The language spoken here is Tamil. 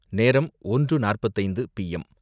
நேரம் ஒன்று நாற்பத்து ஐந்து பி எம்